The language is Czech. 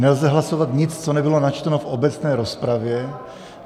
Nelze hlasovat nic, co nebylo načteno v obecné rozpravě.